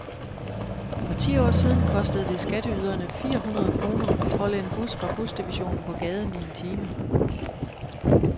For ti år siden kostede det skatteyderne fire hundrede kroner at holde en bus fra busdivisionen på gaden i en time.